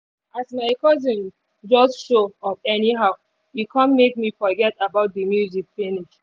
as my cousin just show up anyhow e kon make me forget about the the music finish.